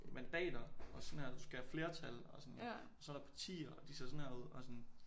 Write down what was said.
Mandater og sådan her du skal have flertal og sådan og så er der partier og de ser sådan her ud og sådan